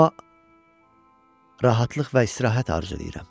Amma rahatlıq və istirahət arzulayıram.